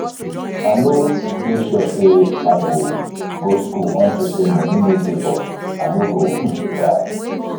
i no dey sure say i go go school unto say money no dey but i no go um die